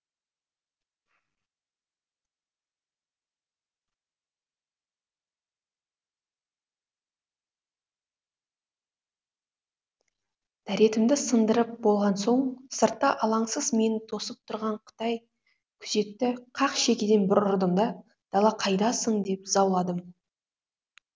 дәретімді сындырып болған соң сыртта алаңсыз мені тосып тұрған қытай күзетті қақ шекеден бір ұрдым да дала қайдасың деп зауладым